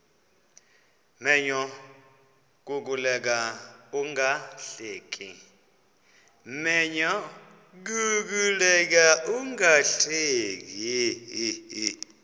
menyo kukuleka ungahleki